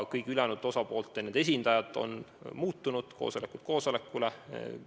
Kõigi ülejäänud osapoolte esindajad on koosolekutel erinevad olnud.